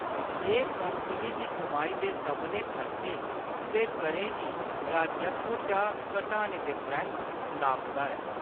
एह्‌‌ कंपनी दी कमाई दे सभनें खर्चें ते करें गी राजस्व चा घटाने दे परैंत्त नापदा ऐ।